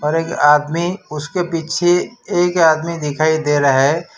और एक आदमी उसके पीछे एक आदमी दिखाई दे रहा है।